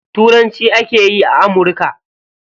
Turanci ake yi a amurka.